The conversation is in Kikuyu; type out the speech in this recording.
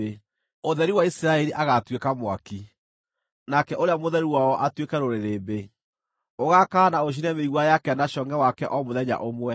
Ũtheri wa Isiraeli agaatuĩka mwaki, nake Ũrĩa Mũtheru wao atuĩke rũrĩrĩmbĩ. Ũgaakana na ũcine mĩigua yake na congʼe wake o mũthenya ũmwe.